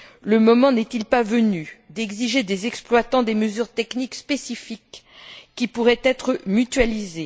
Le moment n'est il pas venu d'exiger des exploitants des mesures techniques spécifiques qui pourraient être mutualisées?